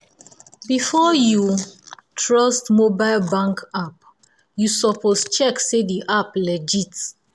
before um you um you um trust mobile bank app um you suppose check say the app legit.